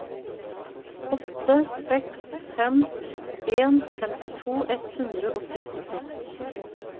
åtte seks fem en femtito ett hundre og syttiseks